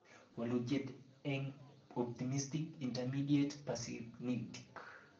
Walutiet eng Optimistic Intermediate Pessimistic